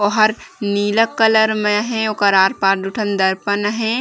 ओहर नीला कलर में हे उकर आर -पार दु ठन दर्पण हे।